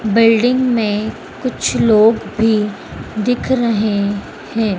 Building में कुछ लोग भी दिख रहे हैं।